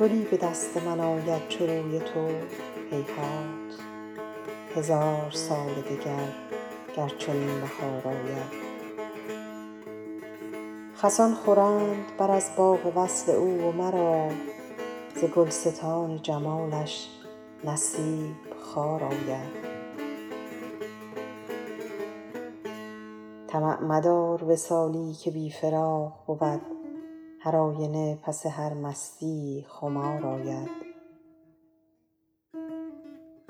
گلی به دست من آید چو روی تو هیهات هزار سال دگر گر چنین بهار آید خسان خورند بر از باغ وصل او و مرا ز گلستان جمالش نصیب خار آید طمع مدار وصالی که بی فراق بود هرآینه پس هر مستیی خمار آید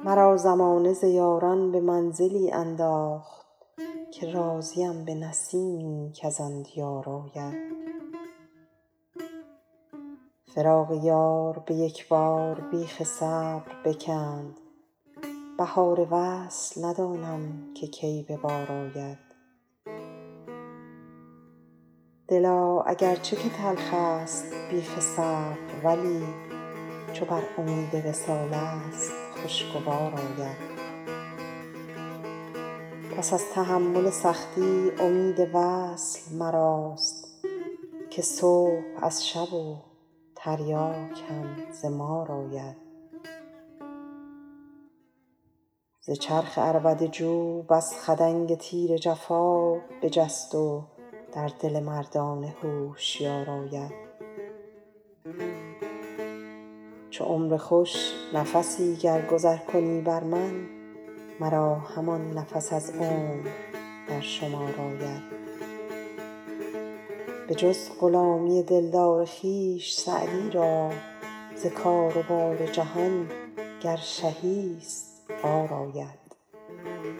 مرا زمانه ز یاران به منزلی انداخت که راضیم به نسیمی کز آن دیار آید فراق یار به یک بار بیخ صبر بکند بهار وصل ندانم که کی به بار آید دلا اگر چه که تلخست بیخ صبر ولی چو بر امید وصالست خوشگوار آید پس از تحمل سختی امید وصل مراست که صبح از شب و تریاک هم ز مار آید ز چرخ عربده جو بس خدنگ تیر جفا بجست و در دل مردان هوشیار آید چو عمر خوش نفسی گر گذر کنی بر من مرا همان نفس از عمر در شمار آید بجز غلامی دلدار خویش سعدی را ز کار و بار جهان گر شهی ست عار آید